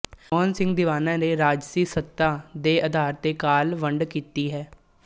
ਮੋਹਨ ਸਿੰਘ ਦੀਵਾਨਾ ਨੇ ਰਾਜਸੀ ਸੱਤਾ ਦੇ ਅਧਾਰ ਤੇ ਕਾਲ ਵੰਡ ਕੀਤੀ ਹੈ